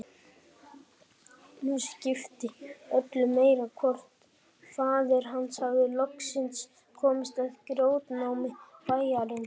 Nú skipti öllu meir hvort faðir hans hafði loksins komist að í grjótnámi bæjarins.